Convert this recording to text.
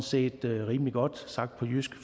set rimelig godt sagt på jysk